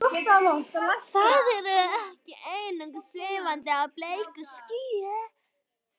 Þau eru ekki einungis svífandi á bleiku skýi.